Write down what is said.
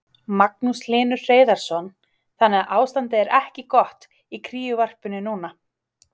Magnús Hlynur Hreiðarsson: Þannig að ástandið er ekki gott í kríuvarpinu núna?